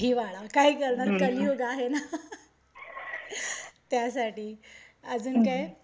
हिवाळा, काय करणार कलियुग आहे ना. त्यासाठी अजून काय?